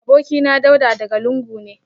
Abokina Dauda daga lungu ne